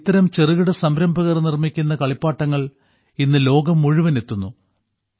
ഇത്തരം ചെറുകിട സംരംഭകർ നിർമ്മിക്കുന്ന കളിപ്പാട്ടങ്ങൾ ഇന്ന് ലോകം മുഴുവൻ എത്തുന്നു